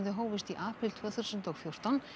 hófust í apríl tvö þúsund og fjórtán